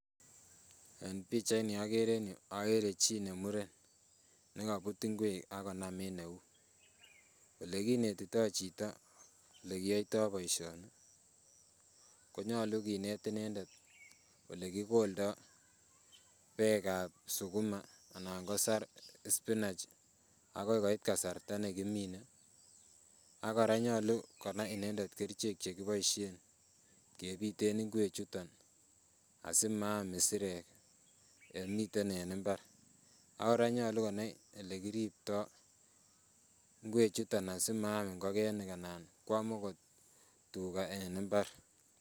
En pichait ni okere en yuu okere chii nemuren nekobut ngwek akonam en eut olekinetitoo chito elekiyoitoo boisioni ko nyolu kinet inendet elekikoldoo beek ab sukuma anan ko saroch spinach akoi koit kasarta nekimine. Ak kora nyolu konai inendet kerichek chekiboisien kebiten ngwek chuton asimaam isirek yemiten en mbar ak kora konyolu konai elekiriptoo ngwek chuton asimaam ngokenik anan koam okot tuga en mbar.